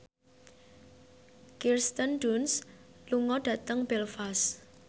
Kirsten Dunst lunga dhateng Belfast